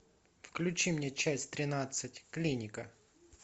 включи мне часть тринадцать клиника